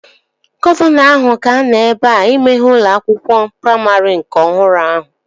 Gọvanọ ahụ ga-anọ ebea imeghe ụlọ akwụkwọ praimarị nke ọhụrụ ahụ